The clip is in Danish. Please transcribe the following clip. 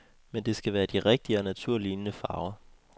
Men det skal være de rigtige og naturlignende farver.